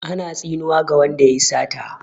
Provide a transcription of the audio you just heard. Ana tsinuwa ga wanda yayi sata.